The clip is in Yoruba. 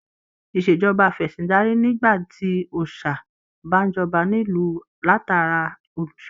Ìṣèjọba afẹ̀sìndarí ní nígbà tí òòsà bá n jọba nílu latara olùṣọ.